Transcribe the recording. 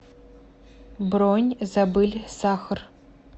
бронь забыли сахар